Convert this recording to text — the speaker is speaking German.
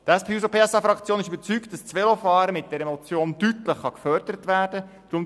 Die SP-JUSO-PSA-Fraktion ist überzeugt, dass das Velofahren mit dieser Motion deutlich gefördert werden kann.